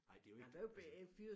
Nej det er jo ikke det samme